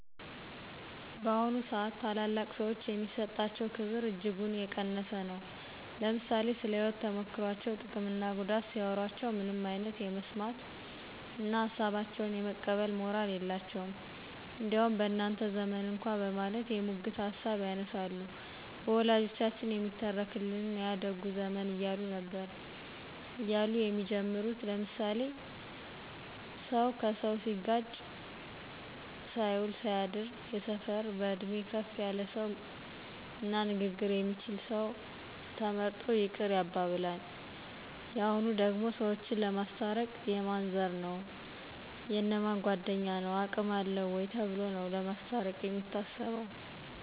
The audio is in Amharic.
በአሁኑ ስአት ታላላቅ ሰዎች የሚሰጣቸው ክብር እጅጉን የቀነሰ ነው። ለምሳሌ ስለ ህይወት ተሞክሮቸው ጥቅም እና ጉዳት ሲያዎሮቸው ምንም አይነት የመስማት እነ ሀሳባቸውን የመቀበል ሞራል የላቸውም። እንዲያውም በእናንተ ዘመን እኳ በማለት የሙግት ሀሳብ ያነሳሉ። በወላጆቻችን የሚተረክልን ያ ደጉ ዘመን እያሉ ነበር እያሉ የሚጀምሩል ለምሳሌ ስሰው ሲጋጭ ሳይውል ሳያድር የሰፈር በእድሜ ከፍ ያለ ሰው እና ንግግር የሚችል ሰው ተመርጦ ይቅር ያባብላን። የሁኑ ደግሞ ሰዎችን ለማስታረቅ የማን ዘር ነው : የእነ ማን ጓድኞ ነው አቅም አለው ወይ ተብሎ ነው ለማስታርቅ የሚታሰበው